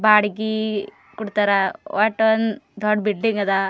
ಬಾಡಿಗೆ ಕೊಡ್ತಾರಾ ಓಟ್ ಒಂದ್ ದೊಡ್ಡ್ ಬಿಲ್ಡಿಂಗ್ ಅದ.